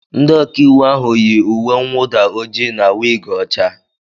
Ndị ọkà íwú ahụ yi uwe nnwuda ojii na wig ọcha.